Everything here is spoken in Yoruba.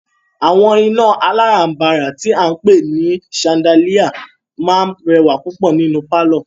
Àwọn iná alárànbàrà tí a ń pé ní ṣandáliá máà rẹwà púpọ̀ nínú pálọ̀.